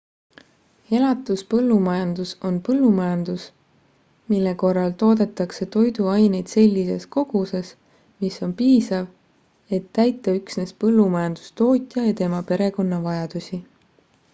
elatuspõllumajandus on põllumajandus mille korral toodetakse toiduaineid sellises koguses mis on piisav et täita üksnes põllumajandustootja ja tema perekonna vajadusi